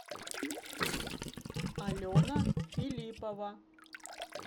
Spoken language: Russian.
алена филиппова